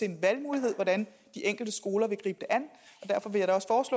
en valgmulighed hvordan de enkelte skoler vil gribe det an